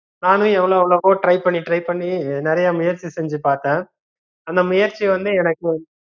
நானு எவ்வளோ எவ்ளோக்கோ try பண்ணி try பண்ணி நிறையா முயற்சி செஞ்சு பாத்தேன் அந்த முயற்சி வந்து எனக்கு